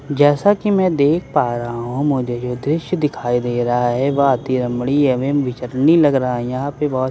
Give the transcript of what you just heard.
जैसा कि मैं देख पा रहा हूँ मुझे जो दृश्य दिखाई दे रहा है वह अति रमणीय एवं विचारणीय लग रहा हैं यहां पे बहुत सारी छोटी छोटी--